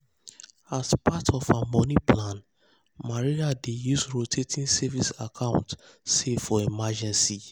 as part of her money plan maria dey use rotating savings account save for emergency.